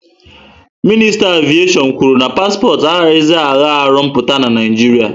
Minista aviation kwuru na paspọtụ agahzi na agha arụ mpụta na Naijiria